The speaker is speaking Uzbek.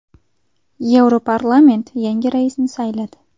Yevroparlament yangi raisni sayladi.